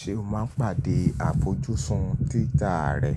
Ṣé o máa ń pàdé àfojúsùn títa rẹ?